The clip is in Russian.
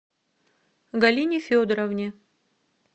галине федоровне